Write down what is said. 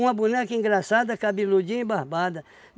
boneca engraçada, cabeludinha e barbada.